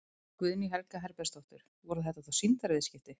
Guðný Helga Herbertsdóttir: Voru þetta þá sýndarviðskipti?